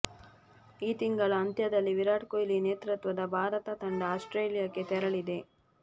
ಈ ತಿಂಗಳ ಅಂತ್ಯದಲ್ಲಿ ವಿರಾಟ್ ಕೊಹ್ಲಿ ನೇತೃತ್ವದ ಭಾರತ ತಂಡ ಆಸ್ಟ್ರೇಲಿಯಾಕ್ಕೆ ತೆರಳಲಿದೆ